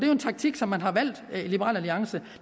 jo en taktik som man har valgt i liberal alliance